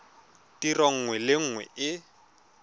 tiro nngwe le nngwe e